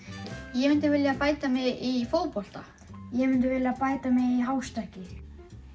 ég myndi vilja bæta mig í fótbolta ég myndi vilja bæta mig í hástökki